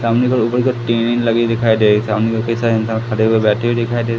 सामने को ऊपर को लगी दिखाई दे रही सामने को कई सारे इंसान खड़े हुए बैठे हुए दिखाई दे--